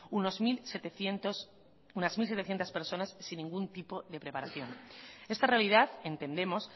unas mil setecientos personas sin ningún tipo de preparación esta realidad entendemos